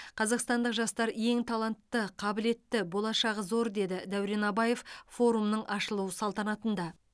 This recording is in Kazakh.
қазақстандық жастар ең талантты қабілетті болашағы зор деді дәурен абаев форумның ашылу салтанатында